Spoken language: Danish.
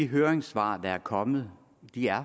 høringssvar der er kommet